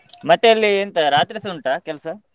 ಮತ್ತೆ ಅಲ್ಲಿ ಎಂತ ರಾತ್ರಿಸ ಉಂಟ ಕೆಲ್ಸ.